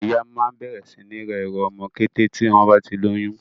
Àwọn ìyá máa ń bẹ̀rẹ̀ sí ní ra ẹrù ọmọ kété tí wọ́n bá ti lóyún.